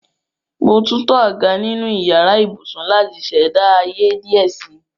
Mo túntọ̀ àgá nínu ìyàrà ìbùṣún láti ṣẹda ayé díẹ̀ sí.